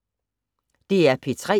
DR P3